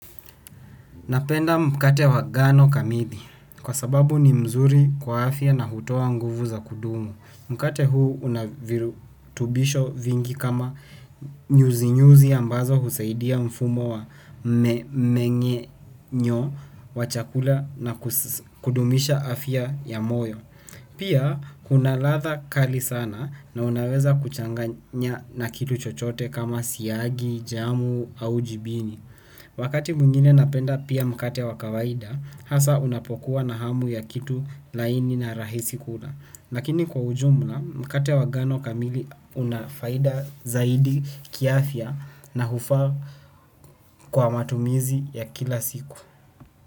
Napenda mkate wa ngano kamili kwa sababu ni mzuri kwa afya na hutoa nguvu za kudumu. Mkate huu una virutubisho vingi kama nyuzinyuzi ambazo husaidia mfumo wa mmeng'enyo wa chakula na kudumisha afya ya moyo. Pia kuna ladha kali sana na unaweza kuchanganya na kitu chochote kama siagi, jamu au jibini. Wakati mwingine napenda pia mkate wa kawaida, hasa ninapokuwa na hamu ya kitu laini kukila na rahisi lakini kwa ujumla, mkate wa ngano kamili unafaida zaidi kiafya na hufaa kwa matumizi ya kila siku.